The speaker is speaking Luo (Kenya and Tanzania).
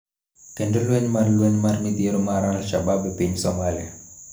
Kendo lweny mar lweny mar midhiero mar Alshabab e piny Somalia